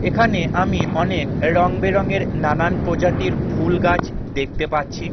এখানে আমি অনেক রংবেরঙের নানান প্রজাতির ফুলগাছ দেখতে পাচ্ছি।